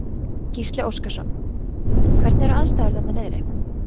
Gísli Óskarsson: Hvernig eru aðstæður þarna niðri?